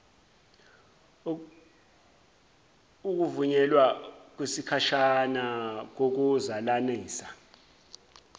ukuvunyelwa kwesikhashana kokuzalananisa